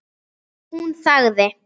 Hún þagði.